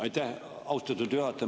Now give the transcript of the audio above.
Aitäh, austatud juhataja!